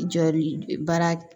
Jɔli baara